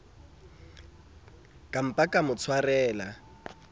ka mpa ka mo tshwarela